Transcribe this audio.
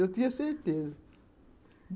Eu tinha certeza.